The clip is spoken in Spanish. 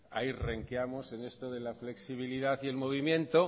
ahí renqueamos en esto de la flexibilidad y el movimiento